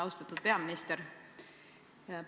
Austatud peaminister!